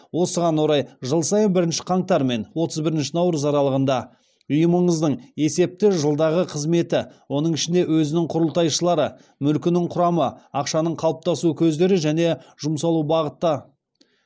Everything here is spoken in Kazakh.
осыған орай жыл сайын бірінші қаңтар мен отыз бірінші наурыз аралығында ұйымыңыздың есепті жылдағы қызметі оның ішінде өзінің құрылтайшылары мүлкінің құрамы ақшаның қалыптасу көздері және жұмсалу бағыты